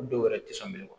Dɔw yɛrɛ ti se minɛ